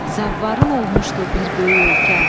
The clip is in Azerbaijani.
Zavarın olmuşdu bir böyük ölkə.